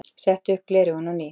Setti upp gleraugun á ný.